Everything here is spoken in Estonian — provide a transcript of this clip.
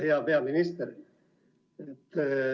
Hea peaminister!